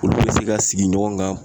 Olu be se ka sigi ɲɔgɔn kan